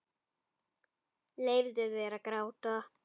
Leyfðu þér að gráta.